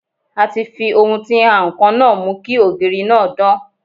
A ti fi ohun tí ń ha ǹkan náà mú kí ògiri náà dán.